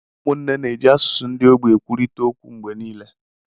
Ụmụnne na-eji asụsụ ndị ogbi na-ekwurịta okwu mgbe nile